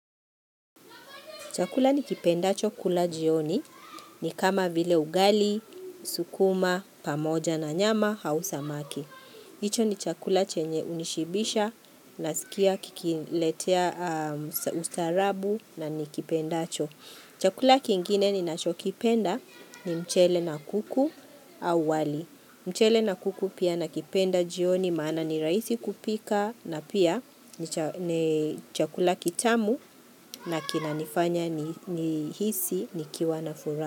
Chakula nikipendacho kula jioni ni kama vile ugali, sukuma, pamoja na nyama, aua samaki. Hicho ni chakula chenye hunishibisha nasikia kikiniletea ustarabu na ni kipenda cho. Chakula kingine ni ninacho kipenda ni mchele na kuku au wali. Mchele na kuku pia nakipenda jioni maana ni raisi kupika na pia ni cha ni chakula kitamu. Na kina nifanya ni nihisi nikiwa na furaha.